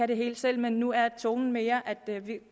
det hele selv men nu er tonen mere at vi